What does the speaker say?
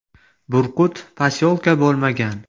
Burqut posyolka bo‘lmagan.